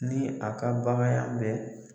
Ni a ka baganya bɛɛ.